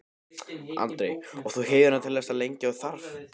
Andri: Og þú heldur hérna til eins lengi og þarf?